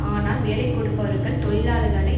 ஆனால் வேலை கொடுப்பவர்கள் தொழிலாளர்களை